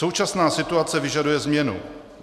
Současná situace vyžaduje změnu.